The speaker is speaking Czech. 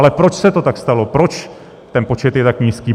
Ale proč se to tak stalo, proč ten počet je tak nízký?